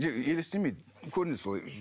жоқ елестемейді көрінеді солай өзі